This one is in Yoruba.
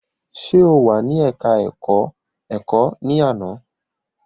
Ṣe o wà ní ẹka ẹ̀kọ́ ẹ̀kọ́ ní àná?